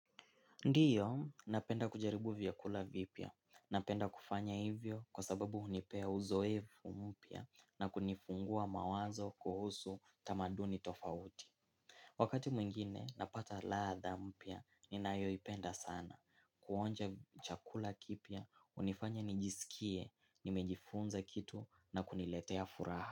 Ndio, napenda kujaribu vyakula vipya. Napenda kufanya hivyo kwa sababu hunipea uzoefu mpya na kunifungua mawazo kuhusu tamaduni tofauti. Wakati mwingine napata ladha mpya, ninayoipenda sana. Kuonja chakula kipya, hunifanya nijisikie, nimejifunza kitu na kuniletea furaha.